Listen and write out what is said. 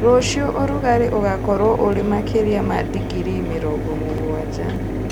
Rũciũ ũrugarĩ ũgakorwo ũrĩ makĩria ma digirii mĩrongo mũgwanja